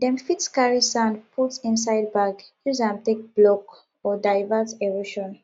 dem fit carry sand put inside bag use am take block or divert erosion